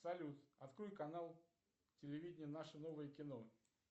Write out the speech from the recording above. салют открой канал телевидения наше новое кино